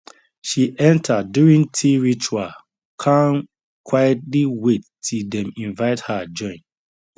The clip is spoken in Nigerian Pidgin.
she enter during tea ritual kan quietly wait till dem invite her join